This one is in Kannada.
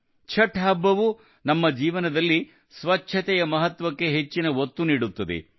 ಛಠ್ ಹಬ್ಬವು ನಮ್ಮ ಜೀವನದಲ್ಲಿ ಸ್ವಚ್ಛತೆಯ ಮಹತ್ವಕ್ಕೆ ಹೆಚ್ಚಿನ ಒತ್ತು ನೀಡುತ್ತದೆ